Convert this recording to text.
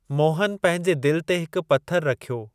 मोहन पंहिंजे दिलि ते हिकु पथरु रखियो।